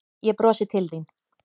Ég brosi til þín.